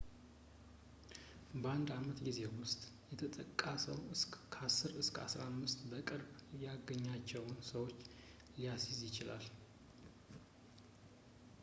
በአንድ ዓመት ጊዜ ውስጥ የተጠቃ ሰው ከ10 እስከ 15 በቅርብ ያገኛቸውን ሰዎች ሊያስይዝ ይችላል